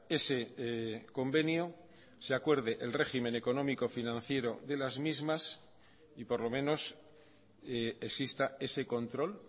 ese convenio se acuerde el régimen económico financiero de las mismas y por lo menos exista ese control